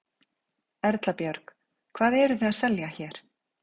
Erla Björg: Hvað eruð þið að selja hér?